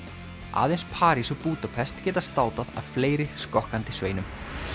aðeins París og Búdapest geti státað af fleiri skokkandi sveinum